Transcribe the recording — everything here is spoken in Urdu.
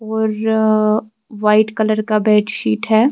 .اورآ وائٹ کلر کا بیڈ شیٹ ہیں